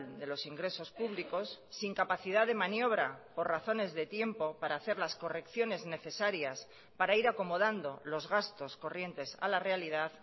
de los ingresos públicos sin capacidad de maniobra por razones de tiempo para hacer las correcciones necesarias para ir acomodando los gastos corrientes a la realidad